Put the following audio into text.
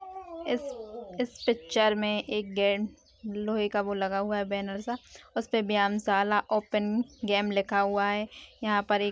इस पिक्चर में एक गे लोहे का वो लगा हुआ है बैनर सा उसपे व्यायामशाला ओपन गेम लिखा हुआ है यहां पर एक --